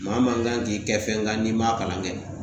Maa maa kan k'i kɛ fɛnkan n'i m'a kalan kɛ